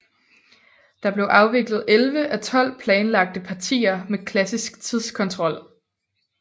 Der blev afviklet 11 af 12 planlagte partier med klassisk tidskontrol